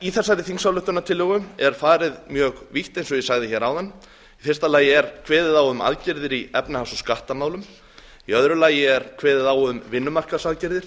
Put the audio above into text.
í þessari þingsályktunartillögu er farið mjög vítt eins og ég sagði áðan fyrsta kveðið er á um aðgerðir í efnahags og skattamálum annars kveðið er á um vinnumarkaðsaðgerðir